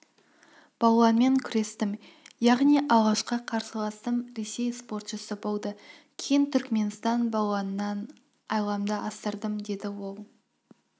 балуанмен күрестім яғни алғашқы қарсыласым ресей спортшысы болды кейін түркменстан балуанынан айламды асырдым деді ол